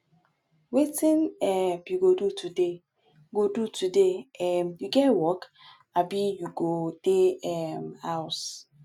wetin um you go do today go do today um you get work abi you go dey um house